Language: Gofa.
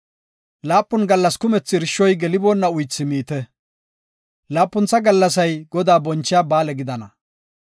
Laapun gallas kumethi irshoy geliboonna uythi miite. Laapuntha gallasay Godaa bonchiya ba7aale gidana.